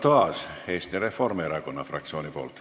Arto Aas Eesti Reformierakonna fraktsiooni nimel.